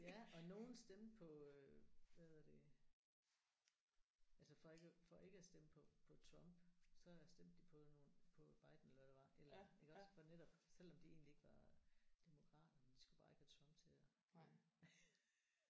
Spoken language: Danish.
Ja og nogle stemte på øh hvad hedder det altså for ikke at for ikke at stemme på på Trump så stemte de på nogle på Biden eller hvad det var et eller andet iggås for netop selvom de egentlig ikke var demokrater men de skulle bare ikke have Trump til at vinde